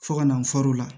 Fo ka na fɔr'o la